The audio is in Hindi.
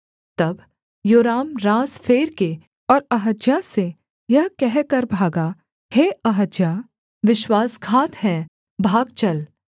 तब योराम रास फेर के और अहज्याह से यह कहकर भागा हे अहज्याह विश्वासघात है भाग चल